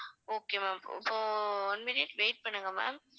okay ma'am இப்போ one minute wait பண்ணுங்க ma'am